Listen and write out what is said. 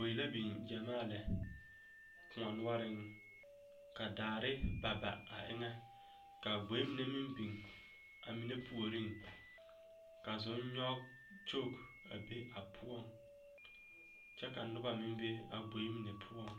Gboe la biŋ gyɛmaa lɛ koɔ noɔreŋ ka daare ba ba a eŋɛ ka gboe mine meŋ biŋ a mine puoriŋ ka zonnyɔge kyog a be a poɔŋ kyɛ ka noba mine meŋ be a gboe mine poɔŋ.